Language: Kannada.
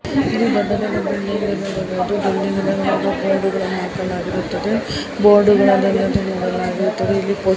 ಇಲ್ಲಿ ದೊಡ್ಡ ದೊಡ್ಡ್ ಬಿಲ್ಡಿಂಗ್ ಗಳ ಮೇಲೆ ಬೋರ್ಡ್ ಗಳನ್ನು ಹಾಕಲಾಗಿರುತ್ತದೆ ಬೋರ್ಡ್ ಗಳನ್ನು ನೇತು ಹಾಕಲಾಗಿರುತ್ತದೆ. ಇಲ್ಲಿ ಪೋ --.